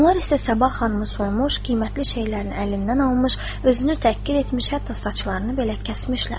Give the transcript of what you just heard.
Onlar isə Sabah xanımı soymuş, qiymətli şeylərini əlindən almış, özünü təhqir etmiş, hətta saçlarını belə kəsmişlər.